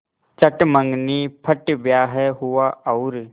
चट मँगनी पट ब्याह हुआ और